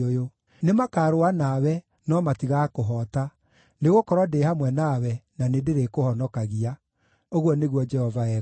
Nĩmakarũa nawe no matigaakũhoota, nĩgũkorwo ndĩ hamwe nawe na nĩndĩrĩkũhonokagia,” ũguo nĩguo Jehova ekuuga.